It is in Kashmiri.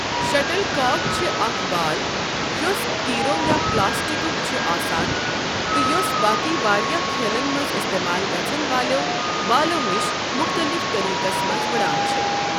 شٹل کاک چھ اکھ بال یوٚس تیٖرَو یا پلٕاسٹکُک چھُ آسان تہِ یوٚس باقی واریٛاہ کھیلَن منٛز استعمال گژھَن والٮ۪و بالَو نِش مختلف طریقَس منٛز وُڑان چھِ۔۔